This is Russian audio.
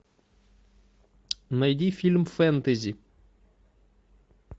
найди фильм фэнтези